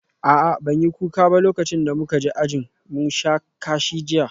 A'a ban yi kuka ba lokacin da muka ji ajin mun sha kashi jiya